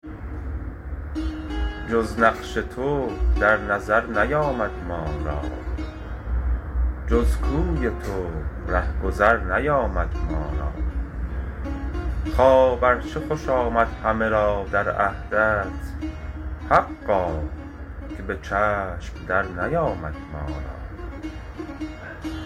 جز نقش تو در نظر نیامد ما را جز کوی تو رهگذر نیامد ما را خواب ار چه خوش آمد همه را در عهدت حقا که به چشم در نیامد ما را